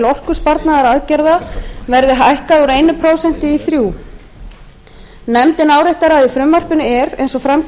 orkusparnaðaraðgerða verði hækkað úr einu prósenti í þrjú prósent nefndin áréttar að í frumvarpinu er eins og fram